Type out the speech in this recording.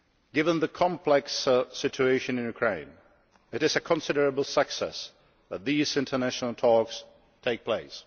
Given the complex situation in Ukraine, it is a considerable success that these international talks are taking place.